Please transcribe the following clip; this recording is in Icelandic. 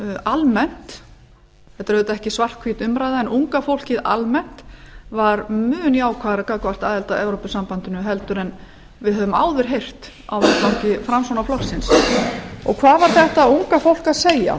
almennt þetta er auðvitað ekki svart hvít umræða var mjög jákvæðara gagnvart aðild að evrópusambandinu heldur en við höfum áður heyrt að vettvangi framsóknarflokksins og hvað var þetta unga fólk að segja